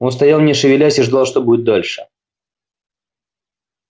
он стоял не шевелясь и ждал что будет дальше